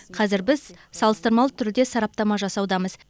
қазір біз салыстырмалы түрде сараптама жасаудамыз